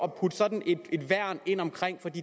at putte sådan et værn ind omkring det